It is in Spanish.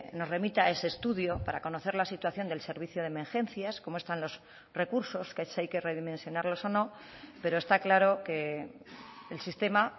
nos remita ese estudio para conocer la situación del servicio de emergencias cómo están los recursos que si hay que redimensionarlos o no pero está claro que el sistema